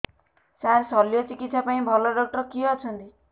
ସାର ଶଲ୍ୟଚିକିତ୍ସା ପାଇଁ ଭଲ ଡକ୍ଟର କିଏ ଅଛନ୍ତି